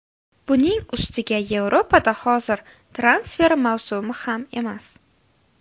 Buning ustiga Yevropada hozir transfer mavsumi ham emas.